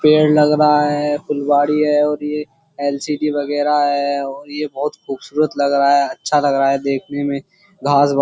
पेड़ लग रहा है फुलवाड़ी है और ये एलसीडी वगैरह है और ये बहुत खूबसूरत लग रहा है अच्छा लग रहा है देखने में घास --